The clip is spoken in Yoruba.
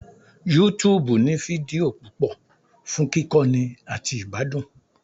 YouTube ní fídíò púpọ̀ fún kíkọ́ni àti ìgbádùn